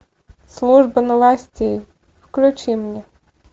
служба новостей включи мне